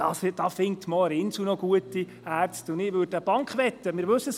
Für 500 000, 600 000 oder 700 000 Franken findet man auch für das Inselspital noch gute Ärzte.